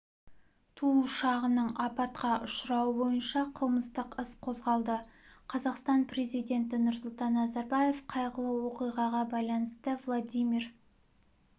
ту ұшағының апатқа ұшырауы бойынша қылмыстық іс қозғалды қазақстан президенті нұрсұлтан назарбаев қайғылы оқиғаға байланысты владимир